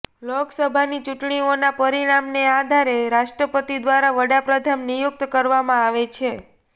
લોકસભાની ચૂંટણીઓના પરિણામને આધારે રાષ્ટ્રપતિ દ્વારા વડાપ્રધાન નિયુક્ત કરવામાં આવે છે